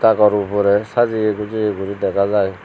agorhobore sajeye pujeye guri dega jai.